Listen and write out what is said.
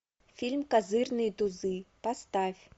фильм козырные тузы поставь